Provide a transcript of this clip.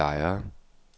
Lejre